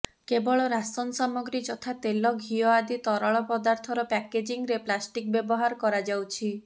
କେବଳ ରାସନ୍ ସାମଗ୍ରୀ ଯଥା ତେଲ ଘିଅ ଆଦି ତରଳ ପଦାର୍ଥର ପ୍ୟାକେଜିଂରେ ପ୍ଲାଷ୍ଟିକ୍ ବ୍ୟବହାର କରାଯାଉଛି